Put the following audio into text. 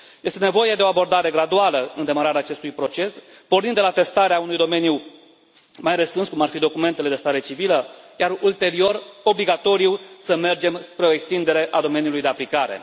Este nevoie de o abordare graduală în demararea acestui proces, pornind de la testarea unui domeniu mai restrâns, cum ar fi documentele de stare civilă, iar, ulterior, este obligatoriu să mergem spre o extindere a domeniului de aplicare.